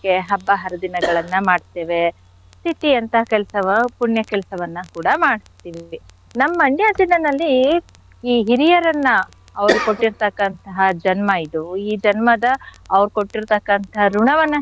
ಹಬ್ಬ ಹರಿದಿನಗಳನ್ನ ಮಾಡ್ತೇವೆ. ತಿಥಿ ಅಂತ ಕೆಲ್ಸವ ಪುಣ್ಯ ಕೆಲ್ಸವನ್ನ ಕೂಡ ಮಾಡ್ತಿವಿ. ನಮ್ Mandya ಜಿಲ್ಲೆನಲ್ಲಿ ಈ ಹಿರಿಯರನ್ನ ಅವ್ರ್ ಕೊಟ್ಟಿರ್ತಕ್ಕಂಥ ಜನ್ಮ ಇದು ಈ ಜನ್ಮದ ಅವ್ರ್ ಕೊಟ್ಟಿರ್ತಕ್ಕಂಥ ಋಣವನ್ನ.